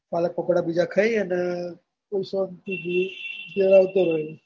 પાલકપકોડા બીજા ખાઈ અને શાંતિથી ઘેર આવતો રોય.